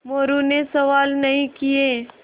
मोरू ने सवाल नहीं किये